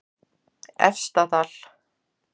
Efstadal